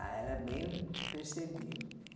Ah, era bem percebido.